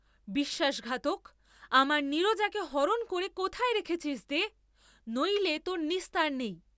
বিশ্বাসঘাতক, আমার নীরজাকে হরণ করে কোথায় রেখেছিস দে, নইলে তোর নিস্তার নেই।